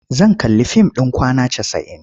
Zan kalli fim ɗin Kwana Casa'in.